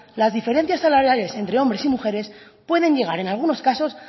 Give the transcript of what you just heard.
las diferencias salariales entre hombres y mujeres pueden llegar en algunos casos